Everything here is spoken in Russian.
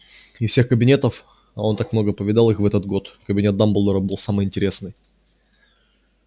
из всех кабинетов а он так много повидал их в этот год кабинет дамблдора был самый интересный